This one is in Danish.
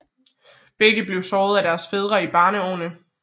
Begge blev slået af deres fædre i barneårene